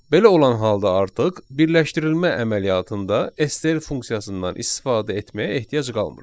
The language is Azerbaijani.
Belə olan halda artıq birləşdirilmə əməliyyatında STR funksiyasından istifadə etməyə ehtiyac qalmır.